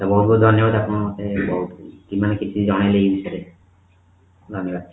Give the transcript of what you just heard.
ବହୁତ ବହୁତ ଧନ୍ୟବାଦ ଆପଣ ଆମ ପାଇଁ ବହୁତ କିଛି ଜଣେଇଲେ ଏ ବିଷୟରେ ଧନ୍ୟବାଦ